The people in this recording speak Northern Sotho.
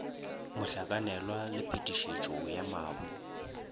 mohlakanelwa le phetišetšo ya mabu